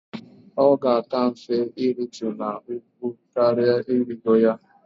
Ọ ga-aka mfe iritu n'ugwu karỊa irigo ya.